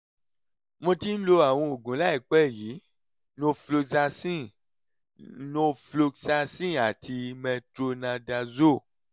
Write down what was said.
mo ti ń lo àwọn oògùn láìpẹ́ yìí: norfloxacin norfloxacin àti metronidazole